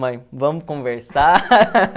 Mãe, vamos conversar?